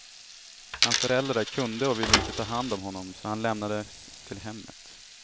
Hans föräldrar kunde och ville inte ta hand om honom, så han lämnades till hemmet.